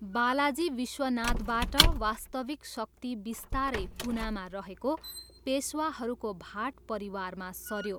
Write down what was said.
बालाजी विश्वनाथबाट, वास्तविक शक्ति बिस्तारै पुनामा रहेको पेसवाहरूको भाट परिवारमा सऱ्यो।